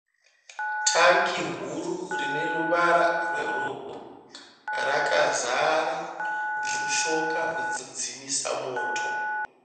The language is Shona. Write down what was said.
Tangi huru rine ruvara rwebhuruu rakazara mushonga wekudzimisa moto.